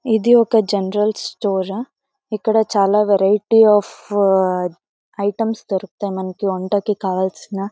ఇది ఒక general store ఆ . ఇక్కడ చాలా వెరైటీ అఫ్ ఐటమ్స్ దొరుకుతాయి. మనకి వంటకు కావాల్సిన--